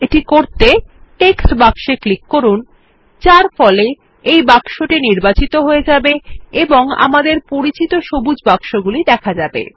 এটি করতে টেক্সট বাক্স এ ক্লিক করুন যার ফলে এই বাক্সটি নির্বাচিত হয়ে যাবে এবং আমাদের পরিচিত সবুজ বাক্সগুলি দেখা যাবে